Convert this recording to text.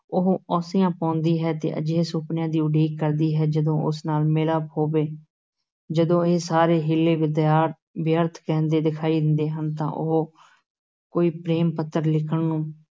ਉਹ ਔਂਸੀਆਂ ਪਾਉਂਦੀ ਹੈ ਤੇ ਅਜਿਹੇ ਸੁਪਨਿਆਂ ਦੀ ਉਡੀਕ ਕਰਦੀ ਹੈ, ਜਦੋਂ ਉਸ ਨਾਲ ਮਿਲਾਪ ਹੋਵੇ, ਜਦੋਂ ਇਹ ਸਾਰੇ ਹੀਲੇ ਵਿਦਾ ਵਿਅਰਥ ਰਹਿੰਦੇ ਦਿਖਾਈ ਦਿੰਦੇ ਹਨ, ਤਾਂ ਉਹ ਕੋਈ ਪ੍ਰੇਮ-ਪੱਤਰ ਲਿਖਣ